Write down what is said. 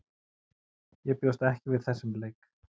Ég bjóst ekki við þessum leik.